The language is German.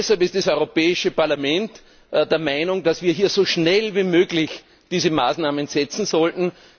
Deshalb ist das Europäische Parlament der Meinung, dass wir hier so schnell wie möglich diese Maßnahmen setzen sollten.